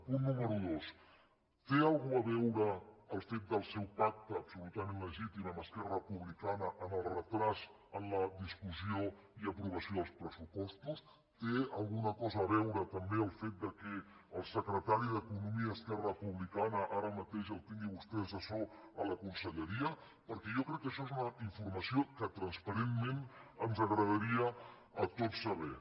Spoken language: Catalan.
punt número dos té alguna cosa a veure el fet del seu pacte absolutament legítim amb esquerra republicana amb el retard en la discussió i aprovació dels pressupostos hi té alguna cosa a veure també el fet que al secretari d’economia d’esquerra republicana ara mateix el tingui vostè d’assessor a la conselleria perquè jo crec que això és una informació que transparentment ens agradaria a tots saber